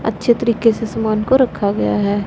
अच्छे तरीके से सामान को रखा गया है।